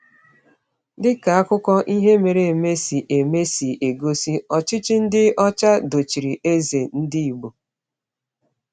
Dị ka akụkọ ihe mere eme si eme si egosi, ọchịchị ndị ọcha dochiri eze ndị Igbo.